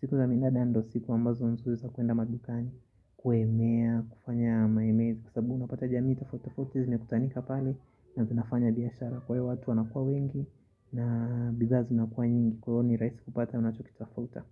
siku za minada ndo siku ambazo nsiza kuenda madukani, kuemea, kufanya maemezi. Sababu unapata jamii tofauti tofauti zime kusanika pale na zinafanya biashara. Kwa hiyo watu wanakua wengi na bidhaa zinakuwa nyingi. Kwa hivo ni rahisi kupata unachokitafuta.